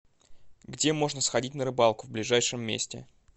где можно сходить на рыбалку в ближайшем месте